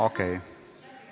Okei.